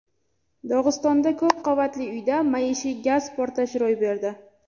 Dog‘istonda ko‘p qavatli uyda maishiy gaz portlashi ro‘y berdi.